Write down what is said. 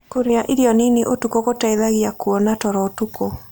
Kũrĩa irio nĩnĩ ũtũkũ gũteĩthagĩa kũona toro ũtũkũ